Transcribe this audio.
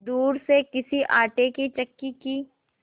दूर से किसी आटे की चक्की की